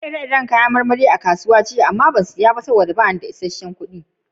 Na gan ire-iren yayan itatuwa jiya a'kasuwa amma ban iya saya ba don ban rike isesen kudi ba.